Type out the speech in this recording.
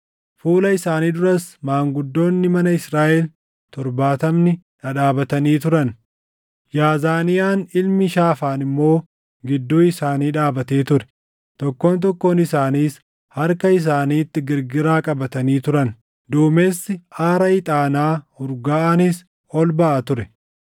Fuula isaanii duras maanguddoonni mana Israaʼel torbaatamni dhadhaabatanii turan; Yaazaniyaan ilmi Shaafaan immoo gidduu isaanii dhaabatee ture. Tokkoon tokkoon isaaniis harka isaaniitti girgiraa qabatanii turan; duumessi aara ixaanaa urgaaʼaanis ol baʼa ture.